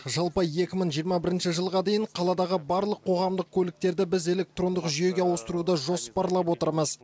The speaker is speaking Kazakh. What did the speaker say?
жалпы екі мың жиырма бірінші жылға дейін қаладағы барлық қоғамдық көліктерді біз электрондық жүйеге ауыстыруды жоспарлап отырмыз